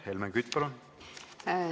Helmen Kütt, palun!